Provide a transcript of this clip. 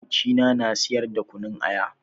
Makocina na siyar da kunun aya.